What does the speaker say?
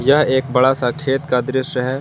यह एक बड़ा सा खेत का दृश्य है।